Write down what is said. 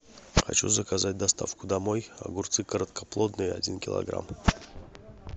хочу заказать доставку домой огурцы короткоплодные один килограмм